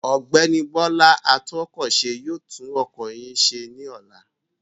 Ọ̀gbẹ́ni Bọ́lá atúnkọ̀ṣe yóò tún ọkọ̀ yín ṣẹ ní ọ̀la.